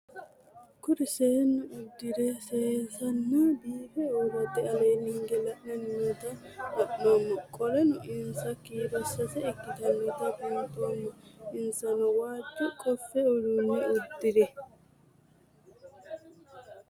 Kuri seenu udire sesena biife urite ale hige la'ani noota la'nemo qoleno insa kiiro sase ikinotana bunxana insano waajo qofe udune udire?